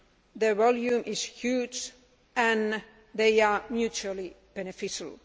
The volume is huge and they are mutually beneficial.